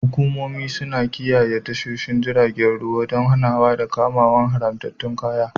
Hukumomi suna kiyaye tashoshin jiragen ruwa don hanawa ko kama haramtattun kayayyaki.